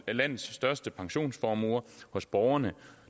af landets største pensionsformuer hos borgerne